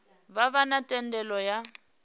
vha vha na thendelo ya